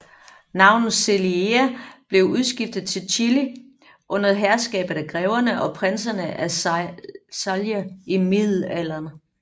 Navnet Celeia blev udskiftet til Cilli under herskabet af Greverne og Prinserne af Celje i Middelalderen